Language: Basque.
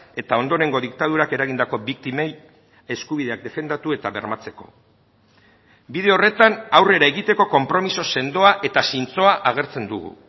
eta ondorengo diktadurak eragindako biktimei eskubideak defendatu eta bermatzeko bide horretan aurrera egiteko konpromiso sendoa eta zintzoa agertzen dugu